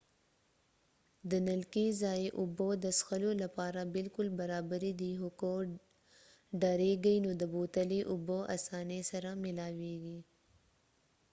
د نلکې ځايي اوبه د څښلو لپاره بالکل برابرې دي خو که ډارېږئ نو د بوتلې اوبه اسانۍ سره ملاوېږي